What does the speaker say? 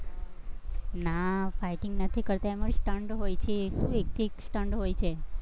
ના એમાં fighting નથી કરતી, stunt હોય છે, એ એક એક stunt હોય છે.